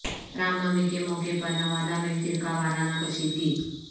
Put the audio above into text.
رام نومی کے موقع پر نوادہ میں فرقہ وارانہ کشیدگی